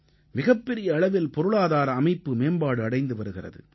மிகப்பெரிய அளவில் பொருளாதார அமைப்பு மேம்பாடு அடைந்து வருகிறது